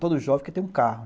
Todo jovem quer ter um carro.